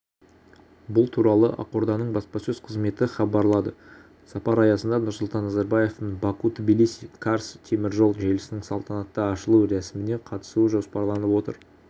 бұл туралы ақорданың баспасөз қызметі хабарлады сапар аясында нұрсұлтан назарбаевтың баку-тбилиси-карс теміржол желісінің салтанатты ашылу рәсіміне қатысуы жоспарланып отыр